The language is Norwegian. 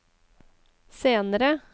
senere